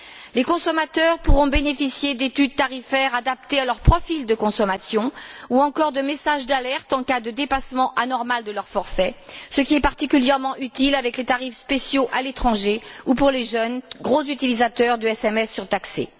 Les consommateurs pourront bénéficier d'études tarifaires adaptées à leur profil de consommation ou encore de messages d'alerte en cas de dépassement anormal de leur forfait, ce qui est particulièrement utile avec les tarifs spéciaux à l'étranger ou pour les jeunes, gros utilisateurs de SMS surtaxés.